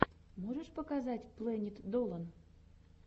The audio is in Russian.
можешь показать плэнит долан